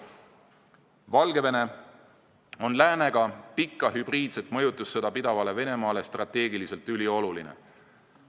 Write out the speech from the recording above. Valgevene on läänega pikka hübriidset mõjutussõda pidavale Venemaale strateegiliselt ülioluline.